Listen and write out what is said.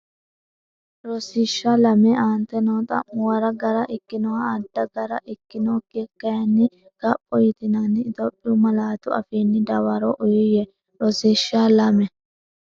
Rosiishsha Lame Aante noo xa’muwara gara ikkinoha adda gara ikkinokkiha kayinni kapho yitinanni Itophiyu malaatu afiinni dawaro uuyye Rosiishsha Lame.